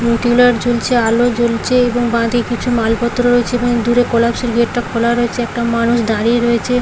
ঝুলছে আলো জ্বলছে এবং বাঁদিকে কিছু মালপত্র রয়েছে এবং দূরে কোলাপ্সেবেল গেট টা খোলা রয়েছে একটা মানুষ দাঁড়িয়ে রয়েছে।